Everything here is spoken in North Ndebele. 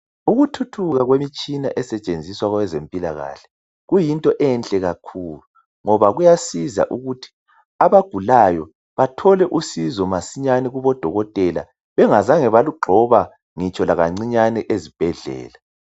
Ukuthuthuka kwemitshina esetshenziswa kwezempilakahle kuyinto enhle kakhulu kuyasiza ukuthi abantu abagulayo bethole usizo masinyane kubodokotela bengazange balugxoba ngitsho lakancinyane ezibhedlela